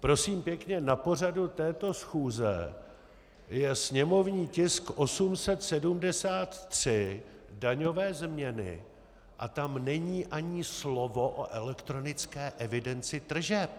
Prosím pěkně, na pořadu této schůze je sněmovní tisk 873, daňové změny, a tam není ani slovo o elektronické evidenci tržeb.